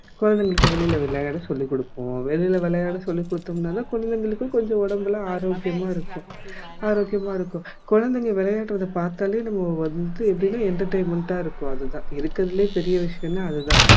குழந்தைகளுக்கு வெளியில விளையாட சொல்லி குடுப்போம் வெளியில விளையாட சொல்லி குடுத்தோம்னா தான் குழந்தைகளுக்கும் கொஞ்சம் உடம்புல ஆரோக்கியமா இருக்கும் ஆரோக்கியமா இருக்கும் குழந்தைங்க விளையாடுறத பார்த்தாலே நம்மக்கு வந்து எப்படினா entertainment ஆ இருக்கும் அது தான் இருக்கிறதுலயே பெரிய விஷயம்னா அது தான்